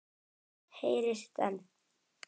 Heyrist enn.